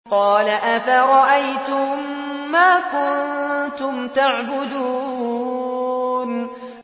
قَالَ أَفَرَأَيْتُم مَّا كُنتُمْ تَعْبُدُونَ